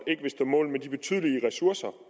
ikke vil stå mål med de betydelige ressourcer